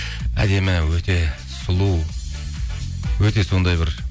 әдемі өте сұлу өте сондай бір